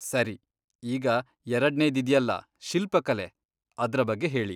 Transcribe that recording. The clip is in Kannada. ಸರಿ, ಈಗ ಎರಡ್ನೇದಿದ್ಯಲ್ಲ, ಶಿಲ್ಪಕಲೆ.. ಅದ್ರ ಬಗ್ಗೆ ಹೇಳಿ.